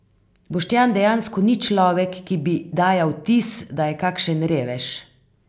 Boštjan dejansko ni človek, ki bi dajal vtis, da je kakšen revež.